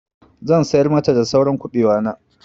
Zan sayar mata da saura kuɓewa na.